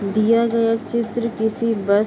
दिया गया चित्र किसी बस --